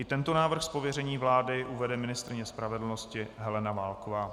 I tento návrh z pověření vlády uvede ministryně spravedlnosti Helena Válková.